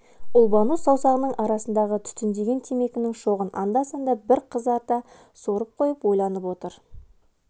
ұлбану саусағының арасында түтіндеген темекінің шоғын анда-санда бір қызарта сорып қойып ойланып отыр